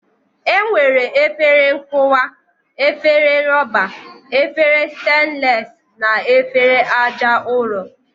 E nwere efere nkụwa, efere rọba, efere stenles na efere aja ụrọ.